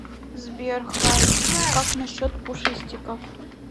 сбер хайкак насчет пушистиков